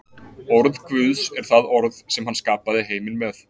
Orð Guðs er það orð sem hann skapaði heiminn með.